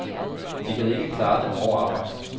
De kan ikke klare det hårde arbejde.